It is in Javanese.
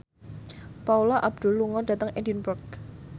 Paula Abdul lunga dhateng Edinburgh